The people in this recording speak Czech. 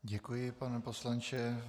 Děkuji, pane poslanče.